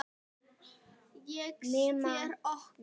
segja þær nokkrar í kór.